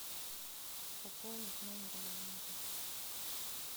пополнить номер абонента